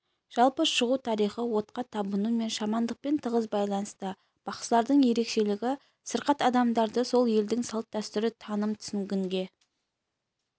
жалпы шығу тарихы отқа табыну мен шамандықпен тығыз байланысты бақсылардың ерекшелігі сырқат адамдарды сол елдің салт-дәстүр таным түсінігіне